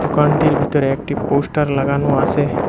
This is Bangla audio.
দোকানটির ভিতরে একটি পোস্টার লাগানো আছে।